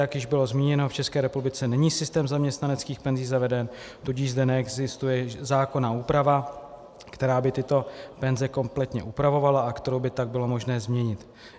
Jak již bylo zmíněno, v České republice není systém zaměstnaneckých penzí zaveden, tudíž zde neexistuje zákonná úprava, která by tyto penze kompletně upravovala a kterou by tak bylo možné změnit.